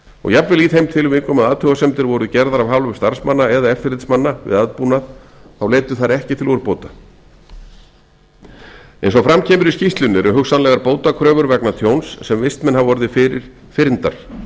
og jafnvel í þeim tilvikum að athugasemdir voru gerðar af hálfu starfsmanna eða eftirlitsmanna við aðbúnað þá leiddu þær ekki til úrbóta eins og fram kemur í skýrslunni eru hugsanlegar bótakröfur vegna tjóns sem vistmenn hafa orðið fyrir fyrndar